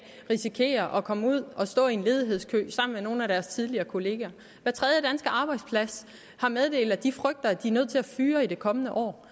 risikerer at komme ud og stå i en ledighedskø sammen med nogle af deres tidligere kolleger hver tredje danske arbejdsplads har meddelt at de frygter at de er nødt til at fyre i det kommende år